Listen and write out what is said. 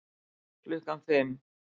Klukkan fimm